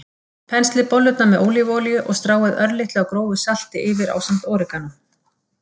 Penslið bollurnar með ólívuolíu og stráið örlitlu af grófu salti yfir ásamt óreganó.